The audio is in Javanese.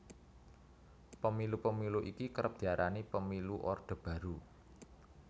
Pemilu Pemilu iki kerep diarani Pemilu Orde Baru